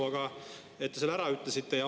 Aga te ütlesite selle ära.